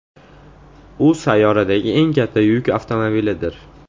U sayyoradagi eng katta yuk avtomobilidir.